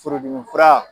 Furudimi fura